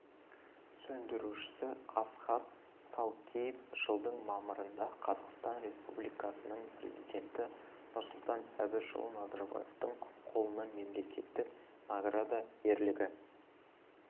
сөндірушісі асхат салкеев жылдың мамырында қазақстан республикасының президенті нұрсұлтан әбішұлы назарбаевтың қолынан мемлекеттік награда ерлігі